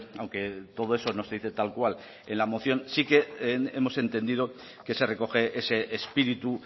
aunque todo eso no se dice tal cual en la moción sí que hemos entendido que se recoge ese espíritu